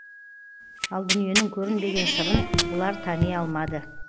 ал дүниенің көрінбеген сырын бұлар тани алмады